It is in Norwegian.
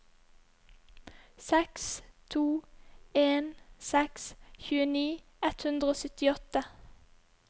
seks to en seks tjueni ett hundre og syttiåtte